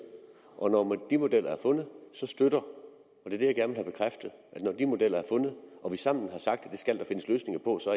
og når de modeller er fundet så støtter når de modeller er fundet og vi sammen har sagt at det skal der findes løsninger på så